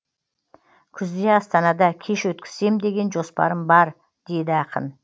күзде астанада кеш өткізсем деген жоспарым бар дейді ақын